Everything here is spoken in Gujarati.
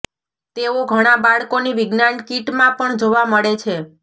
તેઓ ઘણા બાળકોની વિજ્ઞાન કિટમાં પણ જોવા મળે છે